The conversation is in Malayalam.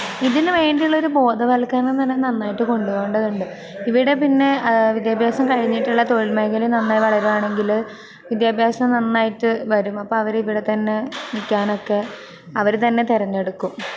ഇതിനു വേണ്ടിയുള്ളൊരു ബോധവൽക്കരണം തന്നെ നന്നായിട്ട് കൊണ്ടുപോകേണ്ടതുണ്ട്. ഇവിടെപ്പിന്നെ വിദ്യാഭ്യാസം കഴിഞ്ഞിട്ടുള്ള തൊഴിൽമേഖല നന്നായി വളരുവാണെങ്കില് വിദ്യാഭ്യാസം നന്നായിട്ട് വരും. അപ്പൊ അവരിവിടെത്തന്നെ നിക്കാനൊക്കെ അവരുതന്നെ തെരഞ്ഞെടുക്കും.